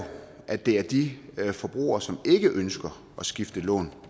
at det er de forbrugere som ikke ønsker at skifte lån